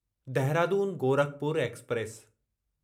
Dehradun Gorakhpur express